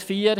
Punkt 4: